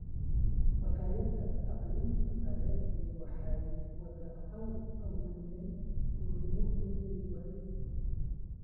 Machadyada tacliinta sare ee waxay wadaan hal-abuurnimo iyo cilmi-baaris.